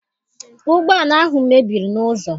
Ụgbọala ahụ mebiri n'ụzọ.